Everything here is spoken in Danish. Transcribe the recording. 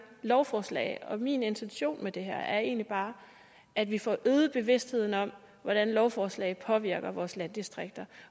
lovforslag min intention med det her er egentlig bare at vi får øget bevidstheden om hvordan lovforslag påvirker vores landdistrikter